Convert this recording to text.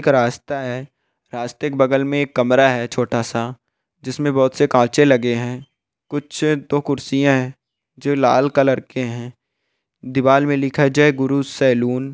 एक रास्ता है रस्ते के बगल में कमरा है छोटा-सा जिसमे बहुत से कांचे लगे हैं कुछ तो कुर्सियां है जो लाल कलर के हैं दीवार में लिखा है जय गुरु सैलून ।